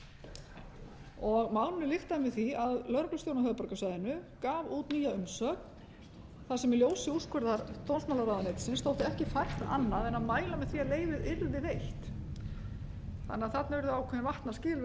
lyktaði með því að lögreglustjórinn á höfuðborgarsvæðinu gaf út nýja umsögn þar sem í ljósi úrskurðar dómsmálaráðuneytisins þótti ekki fært annað en að mæla með því að leyfið yrði veitt þannig að þarna urðu ákveðin vatnaskil